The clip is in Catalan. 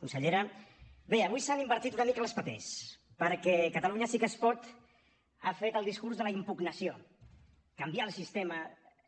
consellera bé avui s’han invertit una mica els papers perquè catalunya sí que es pot ha fet el discurs de la impugnació canviar el sistema